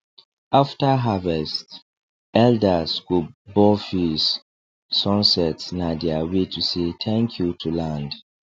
after harvest elders go bow face sunset na their way to say thank you to land